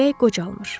Ürək qocalmır.